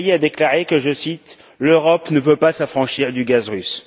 Ferrier a déclaré, je cite l'Europe ne peut pas s'affranchir du gaz russe.